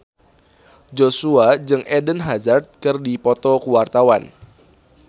Joshua jeung Eden Hazard keur dipoto ku wartawan